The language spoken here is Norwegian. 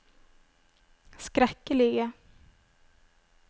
skrekkelige